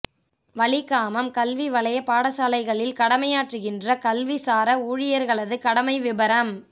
வலிகாமம் கல்வி வலய பாடசாலைகளில் கடமையாற்றுகின்ற கல்விசார ஊழியர்களது கடமை விபரம்